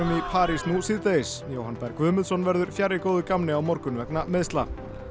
í París nú síðdegis Jóhann Berg Guðmundsson verður fjarri góðu gamni á morgun vegna meiðsla